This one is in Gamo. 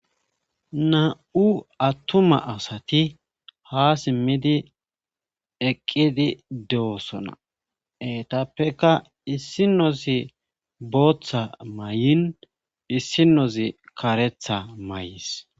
na7u attuma asati ha simmidi eqqidi dewosona eetappeka issinozi booththa may7in issinozi karetha may7is